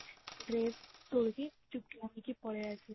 dress ତୋଳିକି ଚୁପକିନା ଯାଇକି ପଳେଈ ଆସିଲି